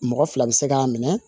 Mɔgɔ fila bɛ se k'a minɛ